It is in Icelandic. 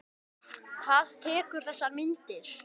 Hver tekur þessar myndir?